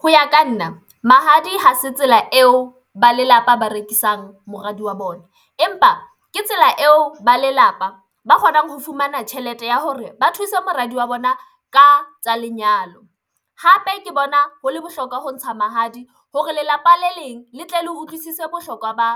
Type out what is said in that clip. Ho ya ka nna mahadi ha se tsela eo ba lelapa ba rekisang moradi wa bona empa ke tsela eo ba lelapa ba kgonang ho fumana tjhelete ya hore ba thuse moradi wa bona ka tsa lenyalo, hape ke bona ho le bohlokwa ho ntsha mahadi hore lelapa le leng le tle le utlwisise bohlokwa ba